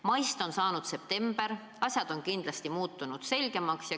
Maist on saanud september, asjad on kindlasti muutunud selgemaks.